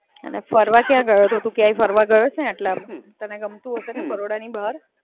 અને ફરવા કયા ગયો તો તું? ક્યાંય ફરવા ગયો છે આટલામાં? તને ગમતું હશે ને બરોડની બહાર?